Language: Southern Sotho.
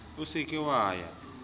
o se ke wa ya